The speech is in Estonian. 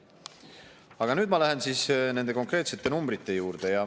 Aga nüüd ma lähen siis nende konkreetsete numbrite juurde.